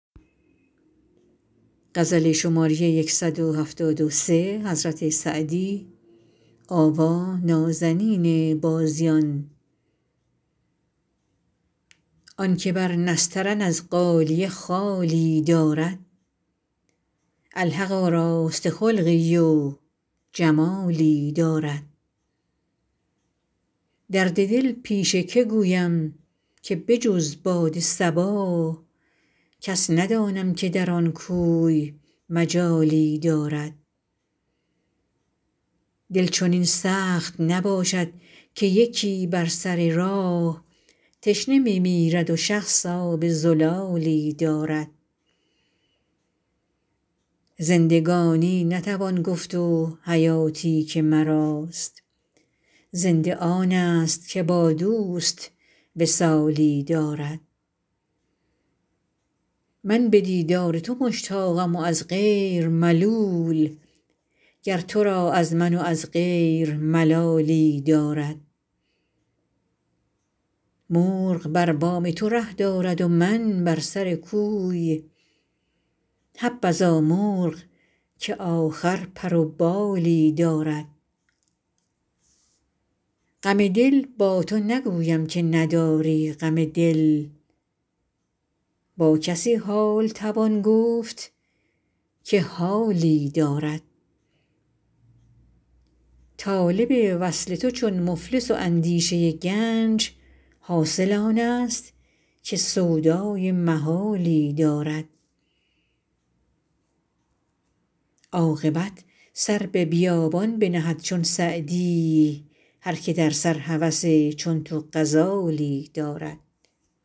آن که بر نسترن از غالیه خالی دارد الحق آراسته خلقی و جمالی دارد درد دل پیش که گویم که به جز باد صبا کس ندانم که در آن کوی مجالی دارد دل چنین سخت نباشد که یکی بر سر راه تشنه می میرد و شخص آب زلالی دارد زندگانی نتوان گفت و حیاتی که مراست زنده آنست که با دوست وصالی دارد من به دیدار تو مشتاقم و از غیر ملول گر تو را از من و از غیر ملالی دارد مرغ بر بام تو ره دارد و من بر سر کوی حبذا مرغ که آخر پر و بالی دارد غم دل با تو نگویم که نداری غم دل با کسی حال توان گفت که حالی دارد طالب وصل تو چون مفلس و اندیشه گنج حاصل آنست که سودای محالی دارد عاقبت سر به بیابان بنهد چون سعدی هر که در سر هوس چون تو غزالی دارد